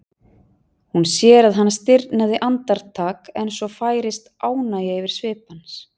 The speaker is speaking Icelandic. Hún sér að hann stirðnar andartak en svo færist ánægja yfir svip hans.